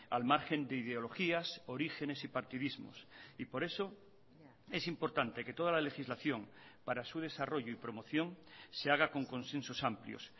al margen de ideologías orígenes y partidismos y por eso es importante que toda la legislación para su desarrollo y promoción se haga con consensos amplios